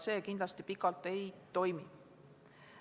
See kindlasti pikalt ei toimiks.